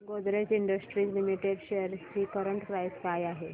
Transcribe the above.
Godrej industries limited shares ची current price काय आहे